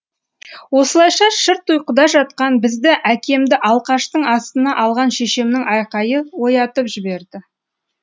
осылайша шырт ұйқыда жатқан бізді әкемді алқаштың астына алған шешемнің айқайы оятып жіберді